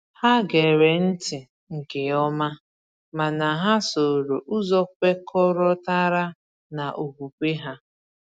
Ha gere ntị nke ọma, mana ha sooro ụzọ kwekọrọtara na okwukwe onwe ha.